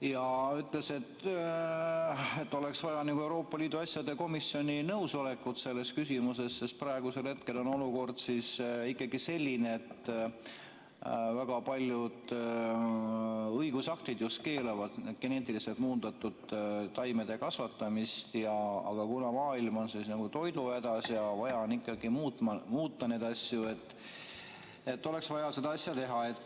Ta ütles, et oleks vaja Euroopa Liidu asjade komisjoni nõusolekut selles küsimuses, sest praegusel hetkel on olukord selline, et väga paljud õigusaktid keelavad geneetiliselt muundatud taimede kasvatamise, aga kuna maailm on toiduhädas ja vaja on ikkagi muuta neid asju, siis oleks vaja seda asja teha.